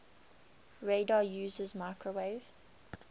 radar uses microwave